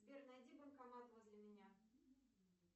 сбер найди банкомат возле меня